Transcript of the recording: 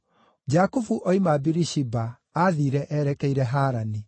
Jakubu oima Birishiba aathiire erekeire Harani.